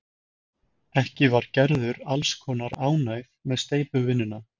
Ekki var Gerður alls kostar ánægð með steypuvinnuna.